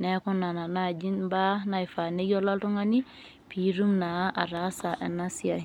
neku nena naaji imbaa naifaa neyiolo oltung'ani piitum naa ataasa ena siai .